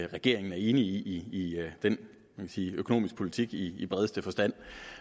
at regeringen er enig i den hvad man sige økonomiske politik i i bredeste forstand